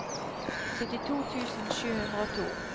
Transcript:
syttito tusen sju hundre og to